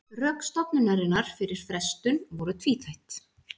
Rök stofnunarinnar fyrir frestun voru tvíþætt